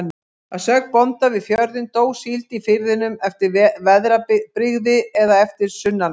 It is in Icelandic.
Að sögn bónda við fjörðinn, dó síld í firðinum eftir veðrabrigði eða eftir sunnanátt.